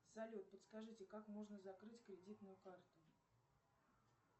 салют подскажите как можно закрыть кредитную карту